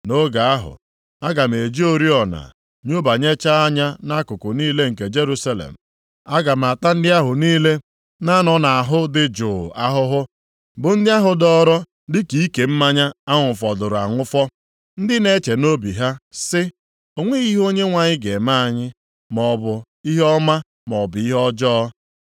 Nʼoge ahụ, aga m eji oriọna nyobanyechaa anya nʼakụkụ niile nke Jerusalem. Aga m ata ndị ahụ niile na-anọ nʼahụ dị jụụ ahụhụ, bụ ndị ahụ dọọrọ dịka ike mmanya a ṅụfọdụrụ aṅụfọ, ndị na-eche nʼobi ha sị, ‘O nweghị ihe Onyenwe anyị ga-eme anyị, maọbụ ihe ọma, maọbụ ihe ọjọọ.’